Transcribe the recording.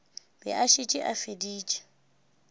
be a šetše a feditše